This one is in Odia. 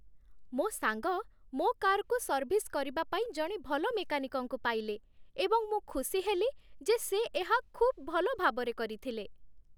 ମୋ ସାଙ୍ଗ ମୋ କାର୍‌କୁ ସର୍ଭିସ୍ କରିବା ପାଇଁ ଜଣେ ଭଲ ମେକାନିକ୍‌ଙ୍କୁ ପାଇଲେ, ଏବଂ ମୁଁ ଖୁସି ହେଲି ଯେ ସେ ଏହା ଖୁବ୍ ଭଲ ଭାବରେ କରିଥିଲେ